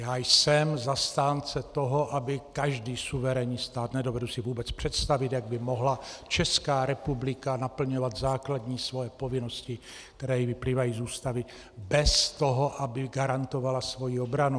Já jsem zastánce toho, aby každý suverénní stát - nedovedu si vůbec představit, jak by mohla Česká republika naplňovat základní svoje povinnosti, které jí vyplývají z Ústavy, bez toho, aby garantovala svoji obranu.